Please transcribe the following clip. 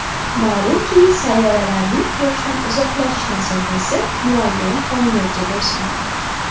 Ma’lumki, sayyoralarning Quyoshdan uzoqlashish masofasi muayyan qonuniyatga bo‘ysunadi.